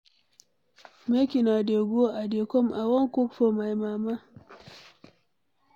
Make una dey go I dey come, I wan cook for my mama.